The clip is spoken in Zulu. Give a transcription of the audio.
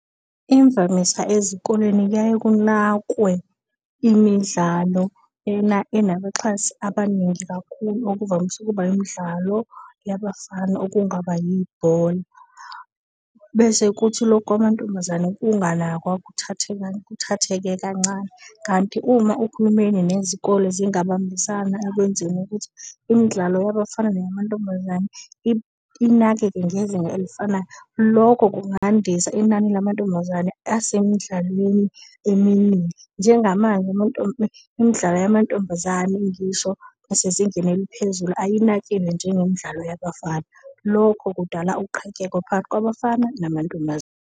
Imvamisa ezikoleni kuyaye kunakwe imidlalo enabaxhasi abaningi kakhulu, okuvamise ukuba imidlalo yabafana okungaba yibhola, bese kuthi loku kwamantombazane kunganakwa kuthatheke kancane. Kanti uma uhulumeni nezikole zingabambisana ekwenzeni ukuthi imidlalo yabafana neya mantombazane inakeke ngezinga elifanayo, loko kungandisa inani lamantombazane asemidlalweni eminingi. Njenga manje imidlalo yamantombazane ngisho esezingeni eliphezulu ayinakiwe njengemidlalo yabafana. Lokho kudala uqhakeko phakathi kwabafana .